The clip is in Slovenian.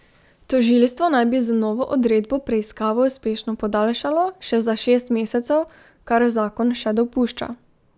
Tožilstvo naj bi z novo odredbo preiskavo uspešno podaljšalo še za šest mesecev, kar zakon še dopušča.